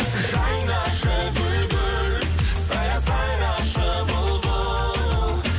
жайнашы гүл гүл сайра сайрашы бұлбұл